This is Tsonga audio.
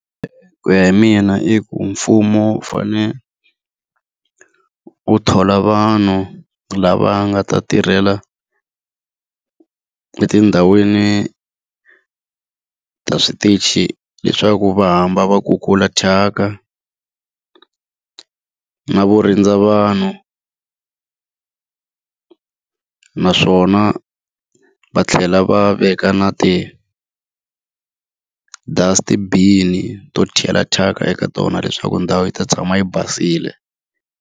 Ku ya hi mina i ku mfumo wu fanele wu thola vanhu lava nga ta tirhela etindhawini ta switichi leswaku va hamba va ku kula thyaka na vo rindza vanhu naswona va tlhela va veka na ti-dust-i bin-i to chela thyaka eka tona leswaku ndhawu yi ta tshama yi basile.